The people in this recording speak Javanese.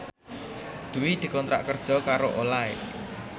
Dwi dikontrak kerja karo Olay